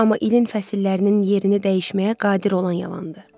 amma ilin fəsillərinin yerini dəyişməyə qadir olan yalandır.